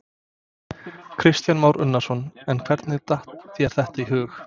Kristján Már Unnarsson: En hvernig datt þér þetta í hug?